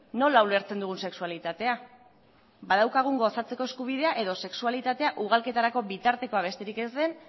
nola ulertzen dugun sexualitatea badaukagun gozatzeko eskubidea edo sexualitatea ugalketarako bitartekoa besterik ez den